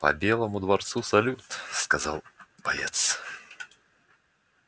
по белому дворцу салют сказал боец